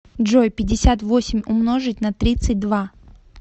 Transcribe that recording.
джой пятьдесят восемь умножить на тридцать два